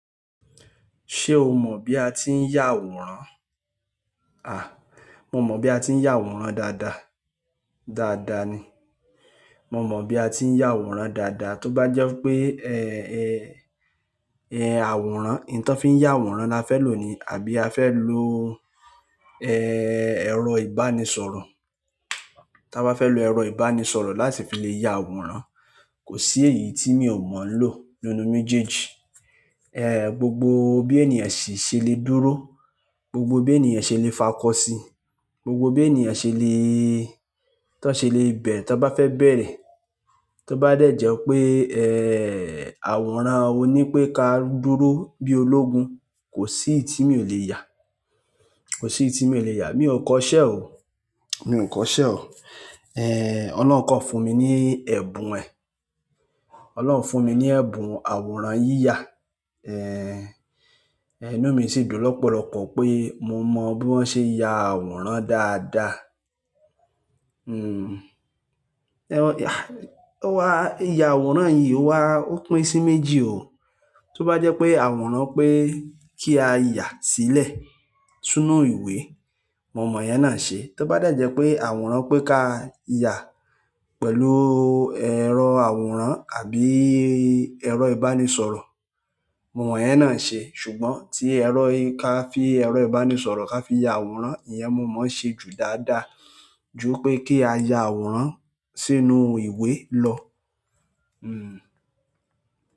Ṣé o mọ̀ bí a tí ń yà àwòrán? À, mo mọ̀ bí a tí ń yà àwòrán dáadáa. Dáadáa ni. Mo mọ bí a tí ń yà àwòrán dáadáa. Tóbájẹ́ pé, eh, eh, eh, àwòrán, n ti won fí ń yà àwòrán la fẹ́ lò ni àbí a fẹ́ lo, eh, ẹ̀rọ ìbánisọ̀rọ̀. Taba fe lo ero ìbánisọ̀rọ̀ láti fi le ya àwòrán, ko si eyii ti mi o mo lo. Nínú méjèèjì, eh, gbogbo bí ènìyàn si ṣe lè dúró, gbogbo bí ènìyàn ṣe lè fakọ́ sí i, gbogbo bí ènìyàn ṣe lèéé, kan ṣe lè bẹ̀rẹ̀ tí wọ́n bá fẹ́ bẹ̀rẹ̀, tí ó bá dẹ̀ jẹ́ pé, eh, àwòrán ọ ní pé ká dúró bí ológun, kò sí èyí tí mi ò lè yà. Kò sí èyí tí mi ò lè yà. Mi ò kọ́ṣẹ́ o. Mi ò kọ́ṣẹ́ o. Eh, Ọlọ́run kọn fún mi ní ẹ̀bùn ẹ̀. Ọlọ́run fún mi ní ẹ̀bùn àwòrán yíyà. Eh, inú mi sì dùn lọ́pọ̀lọpọ̀ pé mo mọ bí wọ́n ṣe yà àwòrán dáadáa. Hmm, ẹwà, ya, ó wa, ìyà àwòrán yìí o wá, ó pín sí méjì o. Tóbájẹ́ pé àwòrán pé kí a yà sílẹ̀ sínú ìwé, mo mọ ìyẹn náà ṣe. Tóbájẹ́ jẹ́ pé àwòrán pé ká yà pẹ̀lú ẹ̀rọ àwòrán àbí ẹ̀rọ ìbánisọ̀rọ̀, mo mọ ìyẹn náà ṣe. Ṣùgbọ́n tí ẹ̀rọ i-- ká fi ẹ̀rọ ìbánisọ̀rọ̀ ká fi ya àwòrán, ìyẹn mo mọ̀ ṣe jù dáadáa ju pé kí a ya àwòrán sínú ìwé lọ. Hmm.